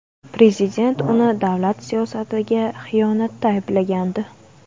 Prezident uni davlat siyosatiga xiyonatda ayblagandi.